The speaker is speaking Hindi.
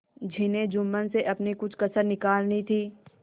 जिन्हें जुम्मन से अपनी कुछ कसर निकालनी थी